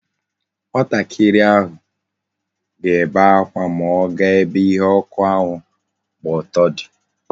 Nwatakiri ahụ ga ebe akwa ma ọ ga ebe ihe ọkụ ahụ gba ọtọ di